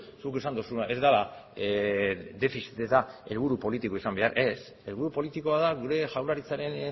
zuk esan duzuna ez dela defizita da helburu politikoa ez helburu politikoa da gure jaurlaritzaren